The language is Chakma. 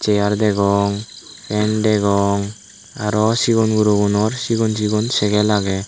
cheyar degong fan degong aro sigon gurogunor sigon sigon sekel agey.